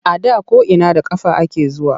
A da ko’ina da ƙafa ake zuwa.